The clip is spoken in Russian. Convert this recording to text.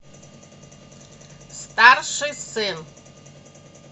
старший сын